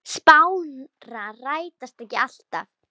Spárnar rætast ekki alltaf.